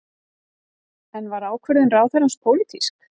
En var ákvörðun ráðherrans pólitísk?